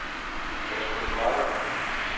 Kasper Nicolaisen